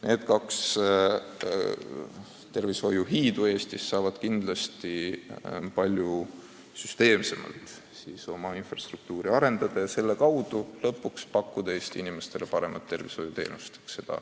Need kaks tervishoiuhiidu saavad kindlasti palju süsteemsemalt oma infrasüsteemi arendada ja tänu sellele pakkuda Eesti inimestele paremat arstiabi.